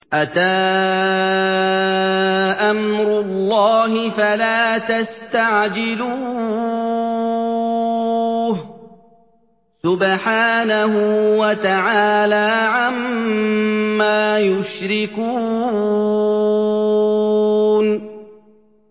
أَتَىٰ أَمْرُ اللَّهِ فَلَا تَسْتَعْجِلُوهُ ۚ سُبْحَانَهُ وَتَعَالَىٰ عَمَّا يُشْرِكُونَ